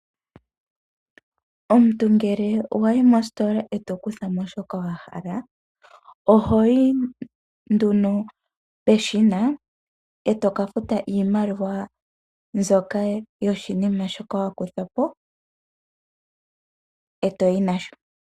Omuntu ngele wayi mositola eto kuthamo shoka wa hala, ohoyi nduno peshina etoka futa iimaliwa mbyoka yoshinima shoka wakuthapo , eto yi nasho.